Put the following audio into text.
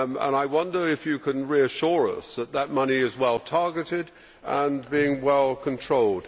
I wonder if you can reassure us that this money is well targeted and being well controlled.